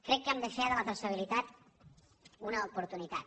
crec que hem de fer de la traçabilitat una oportunitat